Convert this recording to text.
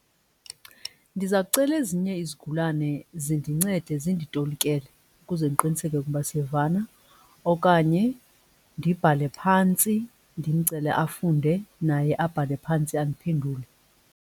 Ndiza kucela ezinye izigulane zindincede zinditolikele ukuze ndiqiniseke ukuba siyavana. Okanye ndibhale phantsi ndimcele afunde naye abhale phantsi andiphendule.